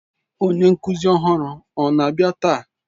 Onye nkuzi ọhụrụ ọ na-abịa taa?